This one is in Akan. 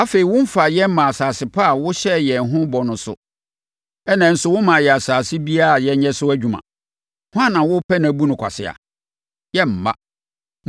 Afei, womfaa yɛn mmaa asase pa a wohyɛɛ yɛn ho bɔ no so, ɛnna nso wommaa yɛn asase biara a yɛnyɛ so adwuma. Hwan na worepɛ no abu no kwasea? Yɛremma”.